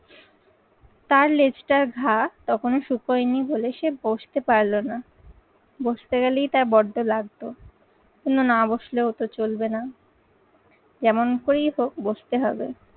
তার লেজটার ঘা তখনও শুকোয়নি বলে সে বসতে পারলো না। বসতে গেলেই তার বড্ড লাগতো কিন্তু না বসলেও তো চলবে না। যেমন করেই হোক বসতে হবে।